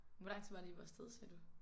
Hvor lang tid var det I var afsted sagde du?